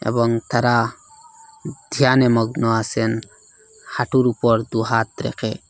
এবং তারা ধ্যানে মগ্ন আসেন হাঁটুর ওপর দু হাত রেখে।